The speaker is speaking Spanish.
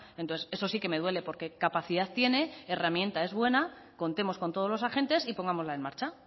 entonces eso sí que me duele porque capacidad tiene herramienta es buena contemos con todos los agentes y pongámosla en marcha